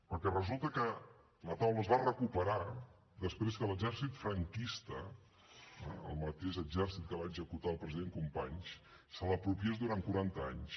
perquè resulta que la taula es va recuperar després que l’exèrcit franquista eh el mateix exèrcit que va executar el president companys se l’apropiés durant quaranta anys